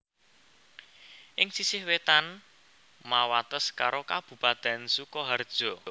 Ing sisih wétan mawates karo kabupatèn Sukaharja